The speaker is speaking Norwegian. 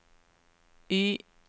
Y